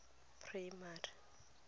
primary